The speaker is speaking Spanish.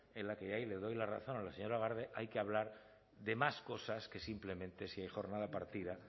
en la que ahí le doy la razón a la señora garde hay que hablar de más cosas que simplemente si hay jornada partida